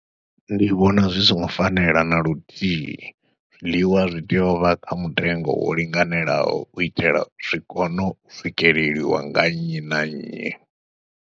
Ndi vhona zwi songo fanela na luthihi, zwiḽiwa zwi tea u vha kha mutengo wo linganelaho u itela zwi kono u swikeleliwa nga nnyi na nnyi.